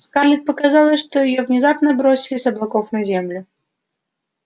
скарлетт показалось что её внезапно сбросили с облаков на землю